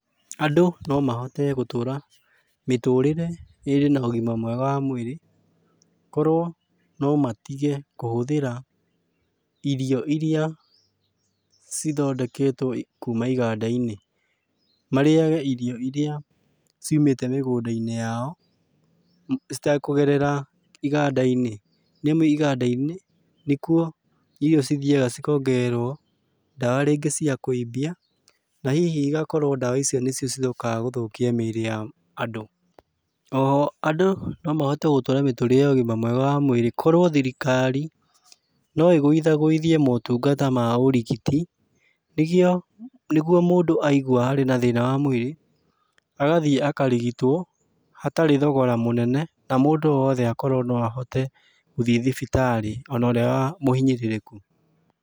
Andũ no mahote gũtũra mĩtũrĩre ĩrĩ na ũgima mwega wa mwĩrĩ, korwo no matige kũhũthĩra irio iria cithondeketwo kuma iganda-inĩ. Marĩage irio iria, ciumĩte mĩgũnda-inĩ yao, citekũgerera iganda-inĩ. Nĩamu inganda-inĩ, nĩkuo irio cithiaga cikongererwo, ndawa rĩngĩ cia kũimbia, na hihi igakorwo ndawa icio nĩcio cicokaga gũthũkia mĩrĩ ya andũ. Oho andũ no mahote gũtũra mĩtũrĩre ya ũgima mwega wa mwĩrĩ korwo thirikari, no igũithagũithie motungata ma ũrigiti, nĩkĩo nĩguo mũndũ aigua arĩ na thĩna wa mwĩrĩ, agathiĩ akarigitwo, hatarĩ thogora mũnene, na mũndũ woothe akorwo no ahote gũthiĩ thibitarĩ, ona ũrĩa wa mũhinyĩrĩrĩku.